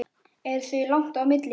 Er því langt á milli.